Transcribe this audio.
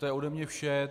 To je ode mě vše.